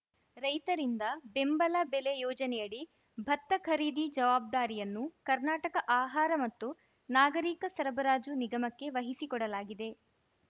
ರೈತರಿಂದ ಬೆಂಬಲ ಬೆಲೆ ಯೋಜನೆಯಡಿ ಭತ್ತ ಖರೀದಿ ಜವಾಬ್ದಾರಿಯನ್ನು ಕರ್ನಾಟಕ ಆಹಾರ ಮತ್ತು ನಾಗರೀಕ ಸರಬರಾಜು ನಿಗಮಕ್ಕೆ ವಹಿಸಿಕೊಡಲಾಗಿದೆ